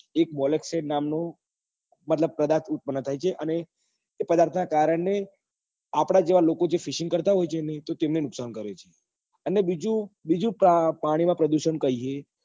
એક પદાર્થ ઉત્પન્ન થાય છે એ એ પદાર્થ નાં કારણે આપડા જેવા લોકો fishing કરતા હોય છે ને તો તેમને નુકસાન કરે છે અને બીજું કે પાણી માં પ્રદુષણ